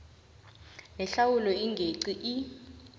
nehlawulo engeqi i